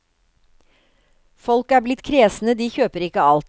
Folk er blitt kresne, de kjøper ikke alt.